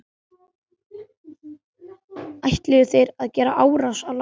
Ætluðu þeir að gera árás á landið?